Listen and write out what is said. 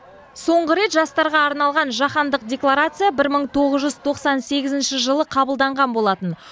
соңғы рет жастарға арналған жаһандық декларация бір мың тоғыз жүз тоқсан сегізінші жылы қабылданған болатын